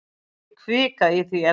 Ekki hvika í því efni.